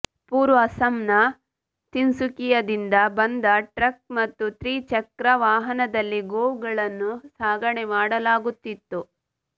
ಪೂರ್ವ ಅಸ್ಸಾಂನ ತಿನ್ಸುಕಿಯಾದಿಂದ ಬಂದ ಟ್ರಕ್ ಮತ್ತು ತ್ರಿಚಕ್ರ ವಾಹನದಲ್ಲಿ ಗೋವುಗಳನ್ನು ಸಾಗಣೆ ಮಾಡಲಾಗುತ್ತಿತ್ತು